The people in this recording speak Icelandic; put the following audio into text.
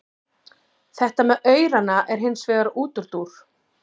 Þetta með aurana er hins vegar útúrdúr.